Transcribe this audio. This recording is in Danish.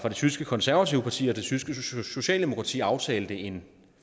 tyske konservative parti og det tyske socialdemokrati aftalte en